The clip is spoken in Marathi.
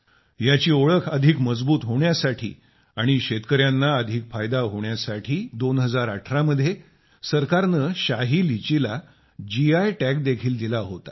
याची ओळख अधिक मजबूत होण्यासाठी आणि शेतकर्यांना अधिक फायदा होण्यासाठी 2018 मध्ये सरकारने शाही लीचीला जीआय टॅग देखील दिला होता